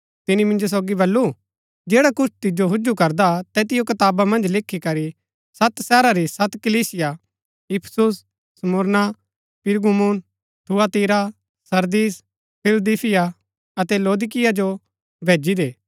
तिनी मिन्जो सोगी बल्लू जैड़ा कुछ तिजो हुजु करदा तैतिओ कताबा मन्ज लिखीकरी सत शहरा री सत कलीसिया Ephesus Smyrna Pergamum Thyatira Sardis Philadelphia अतै लौदीकिया जो भैजी दे